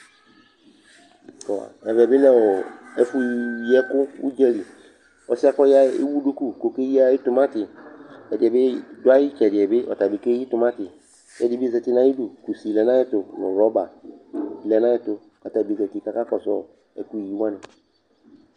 Ɛvɛ bɩ lɛ ɔ ɛfʋyiɛkʋ ʋdza li kʋ ɔsɩ kʋ ɔya yɛ ewu duku kʋ ɔkeyi ayʋ tʋmatɩ Ɛdɩ bɩ dʋ ayʋ ɩtsɛdɩ yɛ bɩ ɔta bɩ keyi tʋmatɩ kʋ ɛdɩ bɩ zati nʋ ayidu Kusi lɛ nʋ ayɛtʋ nʋ rɔba lɛ nʋ ayɛtʋ kʋ ata bɩ zati kʋ akakɔsʋ ɔ ɛkʋyi wanɩ